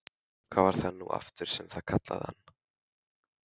Hvað var það nú aftur sem þú kallaðir hann?